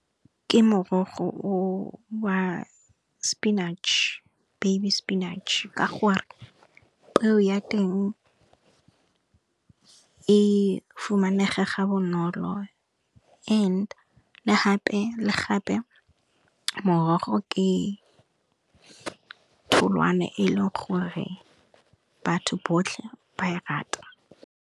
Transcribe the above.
Ke morogo o wa spinach, baby spinach ka gore peo ya teng e fumanega ga bonolo and le gape morogo ke tholwana e le leng gore batho botlhe ba e rata.